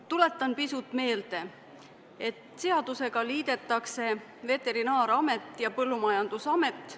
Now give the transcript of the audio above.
Tuletan meelde, et seaduseelnõu eesmärk on liita Veterinaar- ja Toiduamet ning Põllumajandusamet.